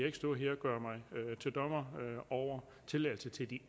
ikke stå her og gøre mig til dommer over tilladelse til de